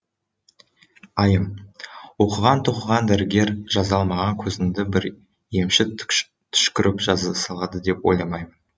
айым оқыған тоқыған дәрігер жаза алмаған көзімді бір емші түшкіріп жаза салады деп ойламаймын